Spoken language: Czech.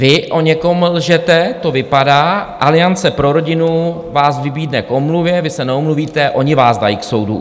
Vy o někom lžete, to vypadá, Aliance pro rodinu vás vybídne k omluvě, vy se neomluvíte, oni vás dají k soudu.